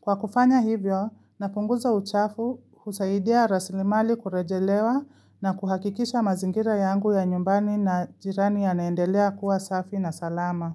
Kwa kufanya hivyo, napunguza uchafu husaidia raslimali kurejelewa na kuhakikisha mazingira yangu ya nyumbani na jirani yanaendelea kuwa safi na salama.